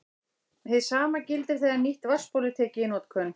Hið sama gildir þegar nýtt vatnsból er tekið í notkun.